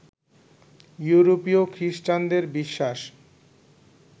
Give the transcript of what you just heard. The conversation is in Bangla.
ইউরোপীয় খৃষ্টানদের বিশ্বাস